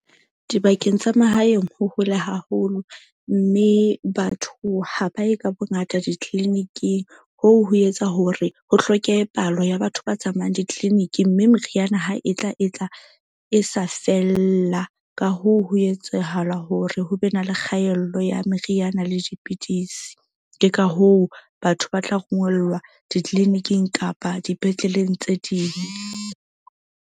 Dibakeng tsa mahaeng ho hole haholo. Mme batho ha ba ye ka bongata di-clinic-ing hoo ho etsa hore ho hlokehe palo ya batho ba tsamayang di-clinic-i. Mme meriana ha e tla e tla e sa fella. Ka hoo, ho etsahala hore ho be na le kgaello ya meriana le dipidisi. Ke ka hoo batho ba tla rongellwa di-clinic-ing kapa dipetleleng tse ding.